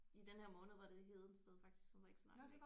I den her måned var det Hedensted faktisk som er ikke så langt væk